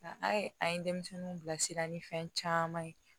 Nka a ye a ye denmisɛnninw bilasira ni fɛn caman ye